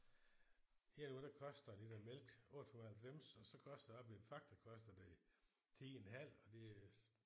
Herude der koster en liter mælk 8 95 og så koster oppe i Fakta koster det 10 en halv og det